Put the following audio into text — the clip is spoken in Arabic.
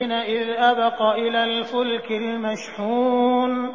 إِذْ أَبَقَ إِلَى الْفُلْكِ الْمَشْحُونِ